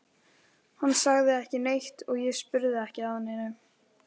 Hann sagði ekki neitt og ég spurði ekki að neinu.